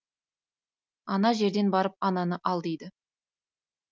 ана жерден барып ананы ал дейді